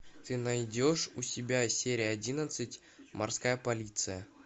ты найдешь у себя серия одиннадцать морская полиция